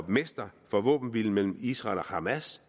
mester for våbenhvilen mellem israel og hamas